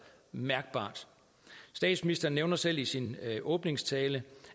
mærkbart statsministeren nævnte selv i sin åbningstale